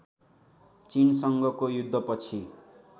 चिनसँगको युद्धपछि